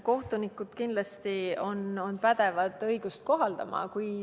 Kohtunikud on kindlasti pädevad õigust kohaldama.